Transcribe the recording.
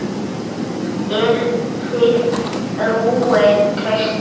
Eruð þið rúin trausti?